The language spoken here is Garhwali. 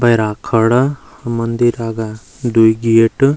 भैरा खड़ा मंदिर आगा द्वि गेट ।